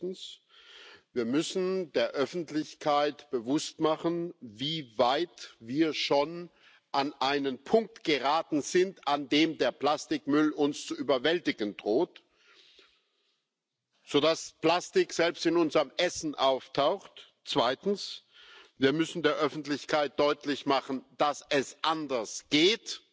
Erstens Wir müssen der Öffentlichkeit bewusst machen, wie weit wir schon an einen Punkt geraten sind, an dem der Plastikmüll uns zu überwältigen droht, sodass Plastik selbst in unserem Essen auftaucht. Zweitens Wir müssen der Öffentlichkeit deutlich machen, dass es anders geht.